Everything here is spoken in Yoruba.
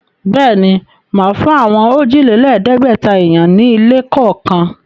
Bẹ́ẹ̀ ni, màá fún àwọn òjìlẹ́lẹ̀ẹ́gbẹ̀ta èèyàn ní ilé kọ̀ọ̀kan.